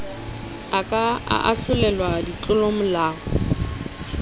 a ka a ahlolelwa ditlolomolao